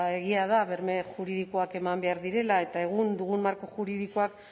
egia da berme juridikoak eman behar direla eta egun dugun marko juridikoak